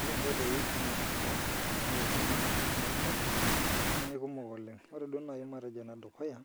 Oree inkoitoi oo lashumpa naaretu naji ilaramatak naa aikumok oleng' ore duo naii matejo ene dukuya